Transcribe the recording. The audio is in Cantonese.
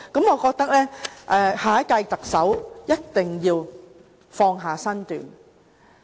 我覺得下任特首一定要放下身段。